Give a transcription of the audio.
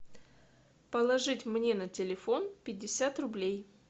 положить мне на телефон пятьдесят рублей